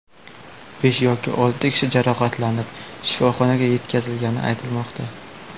Besh yoki olti kishi jarohatlanib, shifoxonaga yetkazilgani aytilmoqda.